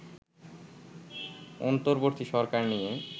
অন্তর্বর্তী সরকার নিয়ে